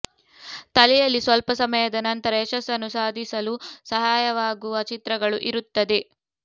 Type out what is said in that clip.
ತಲೆಯಲ್ಲಿ ಸ್ವಲ್ಪ ಸಮಯದ ನಂತರ ಯಶಸ್ಸನ್ನು ಸಾಧಿಸಲು ಸಹಾಯವಾಗುವ ಚಿತ್ರಗಳು ಇರುತ್ತದೆ